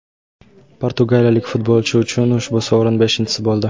Portugaliyalik futbolchi uchun ushbu sovrin beshinchisi bo‘ldi.